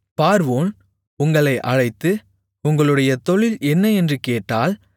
பார்வோன் உங்களை அழைத்து உங்களுடைய தொழில் என்ன என்று கேட்டால்